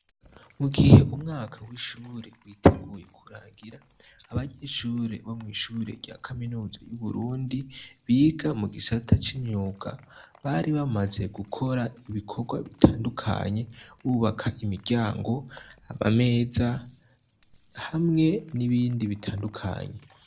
Mu gihe umwaka w'ishure witeguye kurangira abanyishure bo mw'ishure rya kaminuza y'uburundi biga mu gisata c'imyuga bari bamaze gukora ibikorwa bitandukanye bubaka imiryango ama meza hamwe n'ibindi bitandukanye.